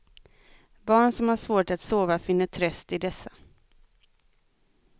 Barn som har svårt att sova finner tröst i dessa.